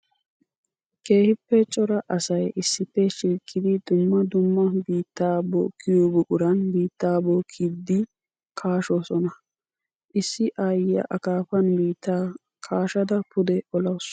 Keehippe cora asay issippe shiiqqiddi dumma dumma biitta bookkiyo buquran biitta bookkiddi kaashshosonna. Issi aayiya akaafani biitta kaashshadda pude olawussu.